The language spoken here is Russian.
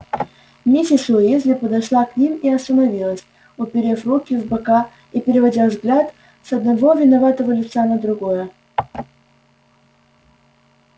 миссис уизли подошла к ним и остановилась уперев руки в бока и переводя взгляд с одного виноватого лица на другое